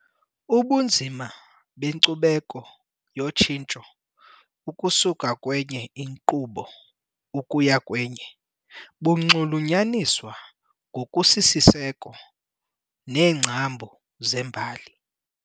Ubunzima benkcubeko yotshintsho ukusuka kwenye inkqubo ukuya kwenye bunxulunyaniswa ngokusisiseko neengcambu zembali.